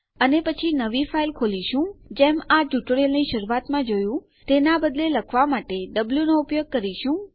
અને પછી આપણે નવી ફાઈલ ખોલીએ છીએ જેમ કે આપણે આ ટ્યુટોરીયલની શરૂઆત માં જોયું તેના બદલે લખવા માટે આપણે વો નો ઉપયોગ કરીશું